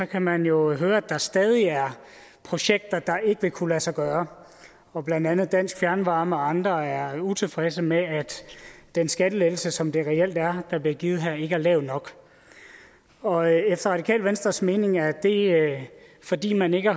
kan man jo høre at der stadig er projekter der ikke vil kunne lade sig gøre og blandt andet dansk fjernvarme og andre er utilfredse med at den skattelettelse som det reelt er der bliver givet her ikke er lav nok og efter radikale venstres mening er det fordi man ikke